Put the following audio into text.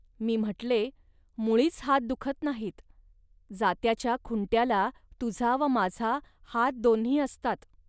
.मी म्हटले, "मुळीच हात दुखत नाहीत. जात्याच्या खुंट्याला तुझा व माझा हात दोन्ही असतात